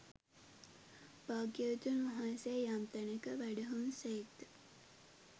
භාග්‍යවතුන් වහන්සේ යම් තැනක වැඩහුන් සේක් ද